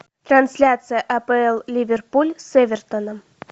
трансляция апл ливерпуль с эвертоном